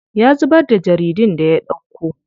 Ya zubar da jaridun da ya ɗauko.